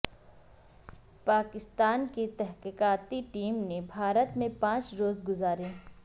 پاکستان کی تحقیقاتی ٹیم نے بھارت میں پانچ روز گزارے